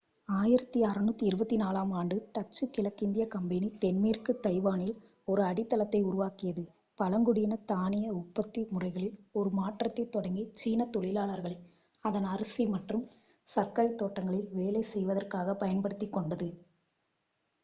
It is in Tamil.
1624-ஆம் ஆண்டு டச்சு கிழக்கிந்திய கம்பெனி தென்மேற்கு தைவானில் ஒரு அடித்தளத்தை உருவாக்கியது பழங்குடியின தானிய உற்பத்தி முறைகளில் ஒரு மாற்றத்தைத் தொடங்கி சீன தொழிலாளர்களை அதன் அரிசி மற்றும் சர்க்கரை தோட்டங்களில் வேலை செய்வதற்காகப் பயன்படுத்திக்கொண்டது